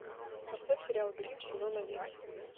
поставь сериал гримм сезон один